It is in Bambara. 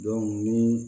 ni